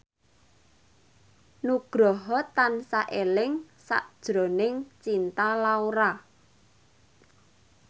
Nugroho tansah eling sakjroning Cinta Laura